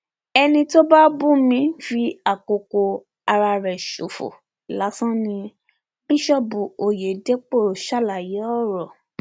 ẹni tó bá ń bú mi ń fi àkókò ara ẹ ṣòfò lásán ni bíṣọọbù ọyẹdẹpọ ṣàlàyé ọrọ